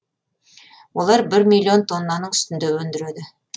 олар бір миллион тоннаның үстінде өндіреді